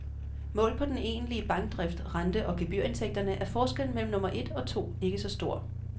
Målt på den egentlige bankdrift, rente- og gebyrindtægterne, er forskellen mellem nummer et og to ikke så stor.